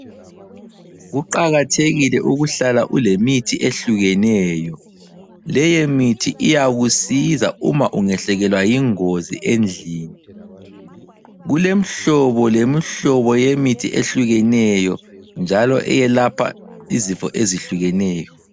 Kuqakathekile ukuhlala ulemithi ehlukeneyo, leye mithi iyakusiza uma ungehlekelwa yingozi endlini. kulemhlobo lemhlobo yemithi ehlukeneyo njalo eyelapha izifo ezihlukeneyo.